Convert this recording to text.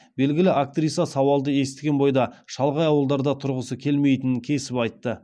белгілі актриса сауалды естіген бойда шалғай ауылдарда тұрғысы келмейтінін кесіп айтты